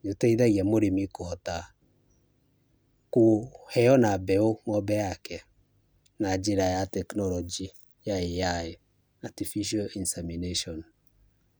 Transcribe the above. nĩ ũteithagia mũrĩmi kũhota kũheo ona mbeũ ng'ombe yake na njĩra ya tekinoronjĩ ya AI Artificial Insemination .